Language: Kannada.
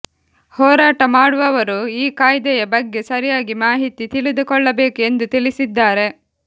ಹೋರಾಟ ಮಾಡುವವರು ಈ ಕಾಯ್ದೆಯ ಬಗ್ಗೆ ಸರಿಯಾಗಿ ಮಾಹಿತಿ ತಿಳಿದುಕೊಳ್ಳಬೇಕು ಎಂದು ತಿಳಿಸಿದ್ದಾರೆ